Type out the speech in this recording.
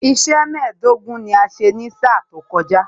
Iṣẹ́ mẹ́ẹ̀dógún ni a ṣe ní sáà tó kọjá